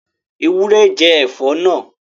Ewúrẹ́ jẹ ẹ̀fọ́ náà